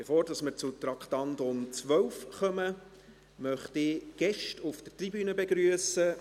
Bevor wir zum Traktandum 12 kommen, möchte ich Gäste auf der Tribüne begrüssen.